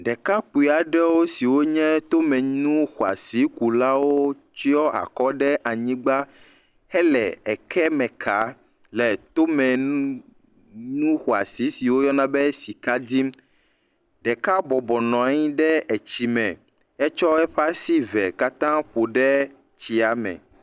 Ɖekakpui aɖe siwo nye tomenu zɔa si ku lawo tsyɔ akɔ ɖe anyigba he le ekeme kam le tome nu nu xƒa siwo yɔ na be sika dim, deka bɔbɔ nɔ anyi ɖe tsia me, ke eƒe asi evewo kata ƒo ɖe tsia me.